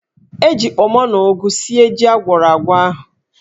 E ji kpọmọ na ụgụ sie jí agwọrọ agwọ ahụ.